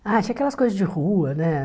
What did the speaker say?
Ah, tinha aquelas coisas de rua, né?